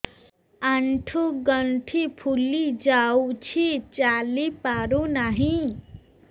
ଆଂଠୁ ଗଂଠି ଫୁଲି ଯାଉଛି ଚାଲି ପାରୁ ନାହିଁ